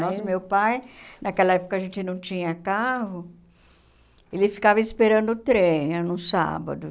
Nossa, meu pai, naquela época a gente não tinha carro, ele ficava esperando o trem, no sábado.